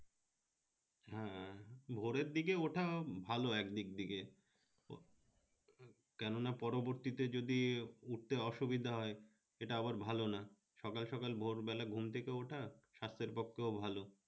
হ্যাঁ ভোরে ওঠা ভালো একদিক থেকে কেননা পরবর্তীতে যদি উঠতে অসুবিধা হয় এটা আবার ভালো না সকাল সকাল ভোর বেলা ঘুম থেকে ওঠা স্বাস্থ্যের পক্ষেও ভালো